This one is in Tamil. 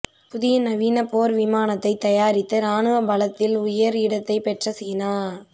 புதிய நவீன போர் விமானத்தை தயாரித்து ராணுவ பலத்தில் உயர் இடத்தை பெற்ற சீனா